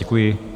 Děkuji.